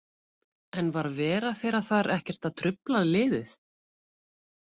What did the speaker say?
En var vera þeirra þar ekkert að trufla liðið?